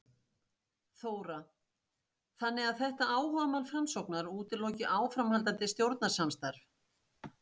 Þóra: Þannig að þetta áhugamál Framsóknar útiloki áframhaldandi stjórnarsamstarf?